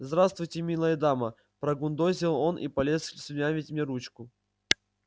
здравствуйте милая дама прогундосил он и полез слюнявить мне ручку